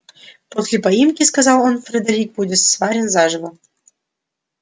после поимки сказал он фредерик будет сварен заживо